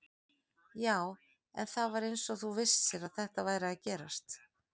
Já, en það var eins og þú vissir að þetta væri að gerast